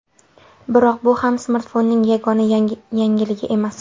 Biroq bu ham smartfonning yagona yangiligi emas.